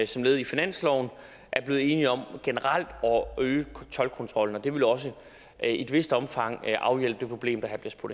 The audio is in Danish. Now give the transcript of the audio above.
som led i finansloven er blevet enige om generelt at øge toldkontrollen det vil også i et vist omfang afhjælpe det problem